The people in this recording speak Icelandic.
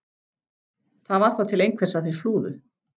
Það var þá til einhvers að þeir flúðu!